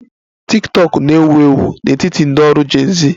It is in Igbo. Tiktokụ na-ewu ewu n'etiti ndị ọrụ Gen z